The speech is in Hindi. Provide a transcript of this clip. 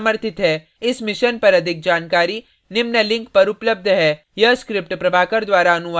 इस mission पर अधिक जानकारी निम्न लिंक पर उपलब्ध है